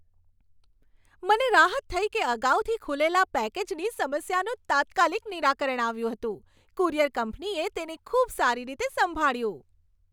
મને રાહત થઈ કે અગાઉથી ખુલેલા પેકેજની સમસ્યાનું તાત્કાલિક નિરાકરણ આવ્યું હતું. કુરિયર કંપનીએ તેને ખૂબ સારી રીતે સંભાળ્યું.